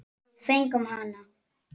Við fengum hana!